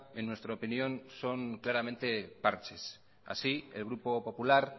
en nuestra opinión son claramente parches así el grupo popular